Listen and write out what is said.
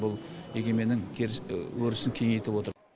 бұл егеменнің өрісін кеңейтіп отыр